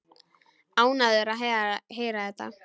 Ánægður að heyra þetta.